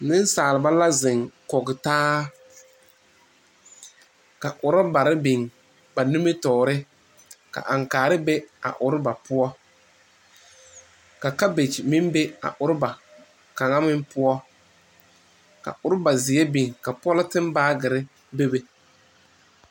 Nensaalba la zeŋ kɔge taa ka ɔrabare biŋ ba nimitɔre ka ankaare be a ɔraba poɔ ka kabage meŋ be a ɔraba kaŋa.meŋ poɔ ka ɔraba. zeɛ biŋ ka pɔlɔtin baage bebe